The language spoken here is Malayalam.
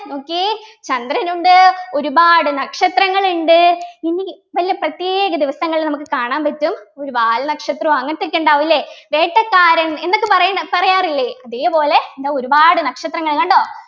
നോക്കിയേ ചന്ദ്രൻ ഉണ്ട് ഒരുപാട് നക്ഷത്രങ്ങൾ ഉണ്ട് ഇനി നല്ല പ്രത്യേക ദിവസങ്ങളിൽ നമുക്ക് കാണാൻ പറ്റും ഒരു വാൽനക്ഷത്രം അങ്ങനത്തെ ഒക്കെ ഉണ്ടാകും ല്ലേ വേട്ടക്കാരൻ എന്നൊക്കെ പറയുന്ന പറയാറില്ലേ അതേപോലെ ദാ ഒരുപാട് നക്ഷത്രങ്ങള് കണ്ടോ